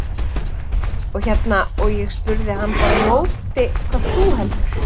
Og hérna, og ég spurði hann bara á móti, hvað heldur þú?